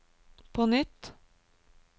på nytt